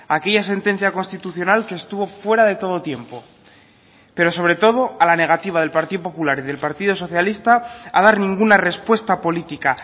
aquella sentencia constitucional que estuvo fuera de todo tiempo pero sobre todo a la negativa del partido popular y del partido socialista a dar ninguna respuesta política